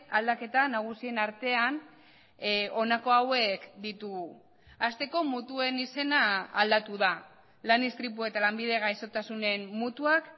aldaketa nagusien artean honako hauek ditugu asteko mutuen izena aldatu da lan istripu eta lanbide gaixotasunen mutuak